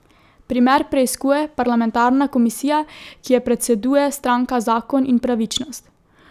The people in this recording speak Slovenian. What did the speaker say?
Primer preiskuje parlamentarna komisija, ki je predseduje stranka Zakon in pravičnost.